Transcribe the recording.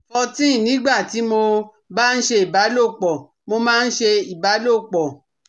fourteen nígbà tí mo bá ń ṣe ìbálòpọ̀, mo máa ń ṣe ìbálòpọ̀